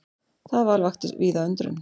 Það val vakti víða undrun.